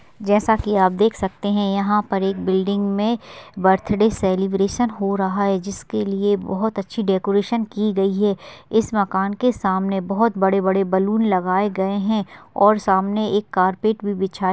जैसा कि आप देख सकते है यहाँ पर एक बिल्डिंग में बर्थडे सेलीब्रेशन हो रहा है जिसके लिए बहुत अच्छी डेकोरेशन की गई है इस मकान के सामने बहुत बड़े-बड़े बलून लगाये गए है और सामने एक कार्पेट भी बिछाया --